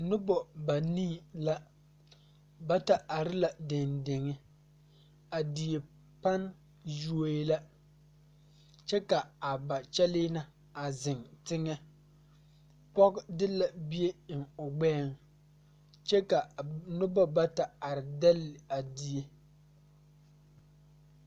Nobɔ banii la bata are la deŋ deŋe a die pan yuoee la kyɛ ka a ba kyɛlee na a zeŋ teŋɛ pɔge de la bie eŋ o gbɛɛŋ kyɛ ka nobɔ bata are dɛlle a die.